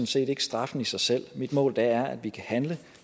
set ikke straffen i sig selv mit mål er at vi kan handle